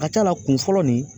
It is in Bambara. A ka ca la kun fɔlɔ nin